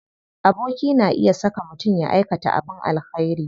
Aboki na iya saka mutum ya aikata abin alkhairi.